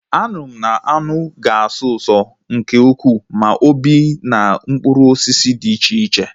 Aṅụ mmanụ aṅụ ga-asọ ụso nke ukwuu ma o bee na mkpụrụ osisi dị iche iche